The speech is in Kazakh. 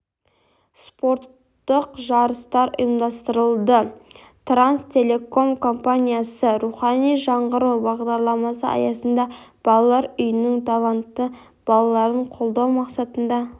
спорттық жарыстар ұйымдастырылды транстелеком компаниясы рухани жаңғыру бағдарламасы аясында балалар үйінің талантты балаларын қолдау мақсатында